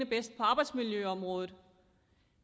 bedst på arbejdsmiljøområdet